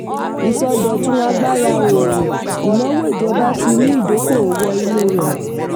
ìsọdọ̀tun agbára òòrùn: ìnáwó ìjọba ti mú ìdókòwó wọ inú rẹ̀.